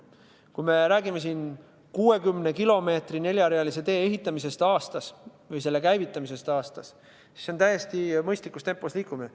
Kui räägime 60 kilomeetri ulatuses neljarealise tee ehitamisest või selle käivitamisest aastas, siis see on täiesti mõistlikus tempos liikumine.